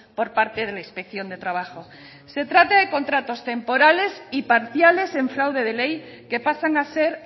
por parte de la inspección de trabajo se trata de contratos temporales y parciales en fraude de ley que pasan a ser